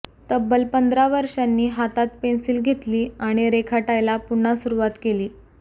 तब्बल पंधरा वर्षांनी हातात पेन्सिल घेतली आणि रेखाटायला पुन्हा सुरुवात केली